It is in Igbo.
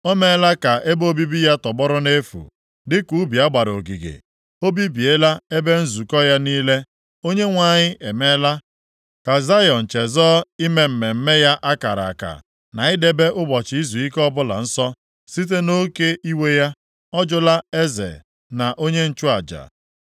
O meela ka ebe obibi ya tọgbọrọ nʼefu, dịka ubi a gbara ogige; o bibiela ebe nzukọ ya niile. Onyenwe anyị emeela ka Zayọn chezọọ ime mmemme ya a kara aka, na idebe ụbọchị izuike ọbụla nsọ. Site nʼoke iwe ya, ọ jụla eze na onye nchụaja.